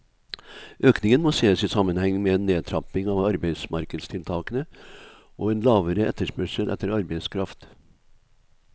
Økningen må ses i sammenheng med en nedtrapping av arbeidsmarkedstiltakene og en lavere etterspørsel etter arbeidskraft.